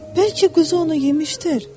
Bəlkə quzu onu yemişdir?